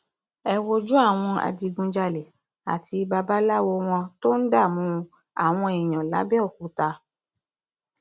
ẹ wojú àwọn adigunjalè àti babaláwo wọn tó ń dààmú àwọn èèyàn làbẹọkúta